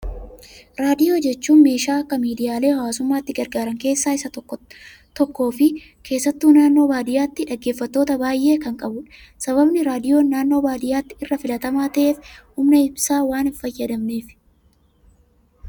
Raadiyoo jechuun meeshaa akka miidiyaalee hawaasummaatti gargaaran keessa isa tokko fi keessattuu naannoo baadiyyaatti dhaggeeffattoota baayyee kan qabudha. Sababni raadiyoon naannoo baadiyyaatti irra filatamaa ta'eef, humna ibsaa waan hin fayyadamneefi.